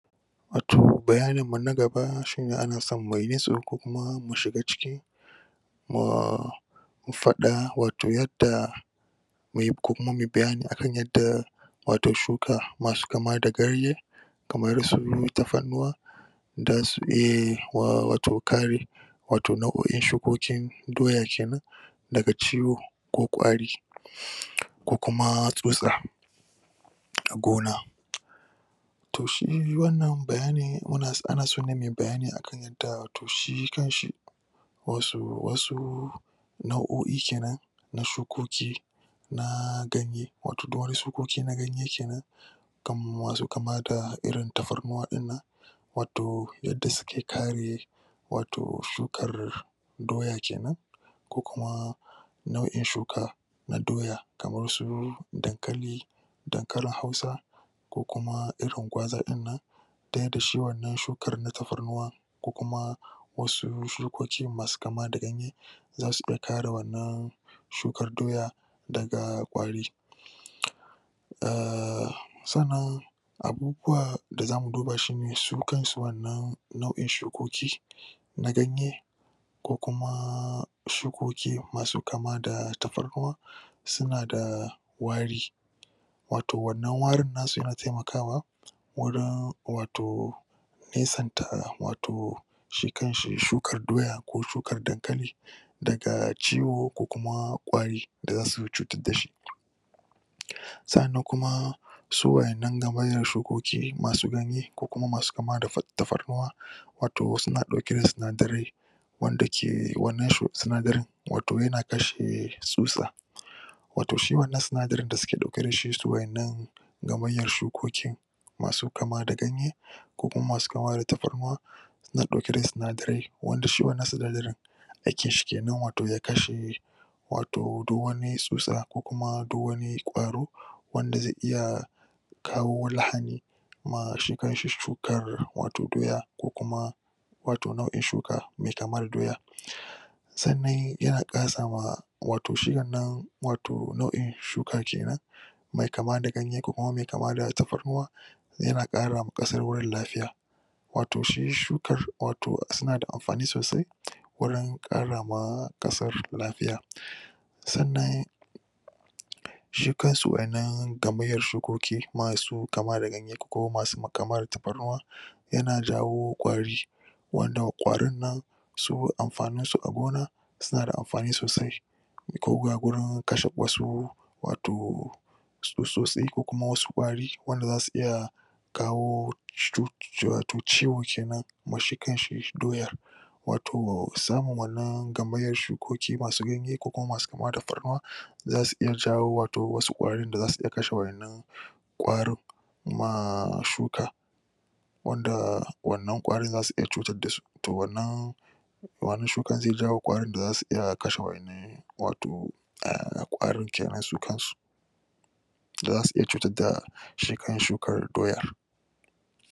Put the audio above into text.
wato bayani na gaba shine a naso mu yi nutso ko kuma mu shiga ciki ahhh mu fada wato yadda muyi kokum a muyi bayyani akan yadda wat shuka masu kama da garye kamar su taffannuwa dasu eh wa.. wato kare wato nau`oin shukokin doya kenan daga ciwo ko kwari ko kuma tsutsa da gona to shi wanna bayyani muna so..ana so ne muyi bayyani da to hi kan shi wasu wasu nau`oi kenan na shukoki naaa ganye wato duk wani shukoki na ganye kenan kam wato kama da irin taffarnuwa din nan wato yadda suke kare wato shukar doya kenan ko kuma na`in shuka na doya kamar su dankali, dankali hausa, ko kum airin gauza din nan da yadda shi wanna shukar na tafarnuwa ko kuma wasu shukoki masu kama da ganye zasu da kare wanna shukar doya daga kwari ahhhh san nan abubuwa da za mu duba shine su kan su wanna nau`in shukoki na ganye ko kumaaa shukoki masu kama da taffarnuwa su na da wari wato wanna warin nasu yana taimakawa wurin wato nesanta wato shi kanshi shukar doya ko shukar dankali daga ciwo ko kuma kwari daga su cutar da shi sa`an nan kuma su waddan nan gamaryar shukoki masu ganye ko kuma masu kama da fat..taffarnuwa wato suna dauke da sunadarai wanda ke wanna shu.. sunadarain wato yana kase tsutsa wato shi wanna sinadarin da suke dauke da shi su waddan gamarya shukoki masu kama da ganye, kokuma masu kama da taffarnuwa nn dauke da sunadarai wanda shi wanna sunadarin aiki shi kenan wato ya kashe wato da wani tsutsa ko kuma da wani kwaro wanda zai iya kawo lahni ma shi kan shi shukar wato doya ko kuma wato nau`in shuka mai kamar doya san nan yana kara sa ma wato shi wanna wato nau`in shuka kenan me kama da ganye ko kuma mai kama da taffarnuwa yana kara ma kasar wuri lafiya wato shi shukar wato suna da anfani sosai wurin kara ma kasar lafiya san nan shi kan su wannan gamaryar shukoki masu kama da ganye ko masu ma.. kama da taffarnuwa yanna jawo kwari wannan kwarin nan su anfani su a gona su na da anfani sosai ko ga gurin kashe wasu wato tsutsotsi ko kuma wasu kwari wanda za su iya kawo cut.. shi wato ciwo kenan amma shi kan shi doya wato samu wanna gamaryar shukoki masu ganye ko kuma masu kama da farnuwa za su jayo wato wasu kwari da za su iya kashe wanna kwarin maaa shuka wanda wanna kwarin za su iya cutar da su to wannan wannan shukar zai jayo kwarin da za su kashe wanna wato ahh kwarin kenan su kan su da za su iya cuta da shi kanshi shukar doya